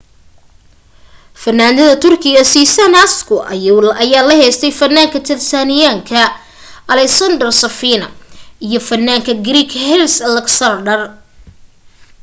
fanaanta turkida sezen aksu ayaa la heestay fanaanka talyaaniga alessandro safina iyo fanaanka greek haris alexiou